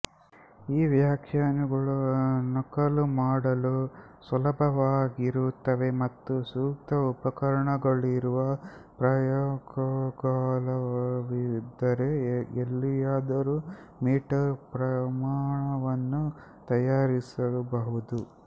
ಈ ವ್ಯಾಖ್ಯಾನಗಳು ನಕಲು ಮಾಡಲು ಸುಲಭವಾಗಿರುತ್ತವೆ ಮತ್ತು ಸೂಕ್ತ ಉಪಕರಣಗಳಿರುವ ಪ್ರಯಾಗಾಲಯವಿದ್ದರೆ ಎಲ್ಲಿಯಾದರೂ ಮೀಟರ್ ಪ್ರಮಾಣವನ್ನು ತಯಾರಿಸ ಬಹುದು